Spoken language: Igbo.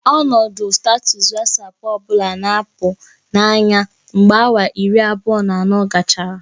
Ọnọdụ sitatụs Wasapu ọ bụla na-apụ n'anya mgbe awa iri abụọ na anọ gachara